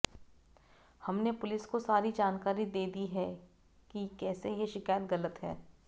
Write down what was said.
हमने पुलिस को सारी जानकारी दे दी है कि कैसे ये शिकायत गलत है